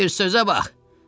Bir sözə bax!